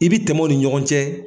I bɛ tɛmɛ u ni ɲɔgɔn cɛ.